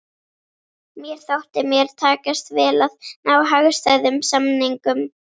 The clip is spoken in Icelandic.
Mér þótti mér takast vel að ná hagstæðum samningum!